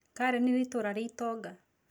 Karen nĩ itũũra rĩa itonga.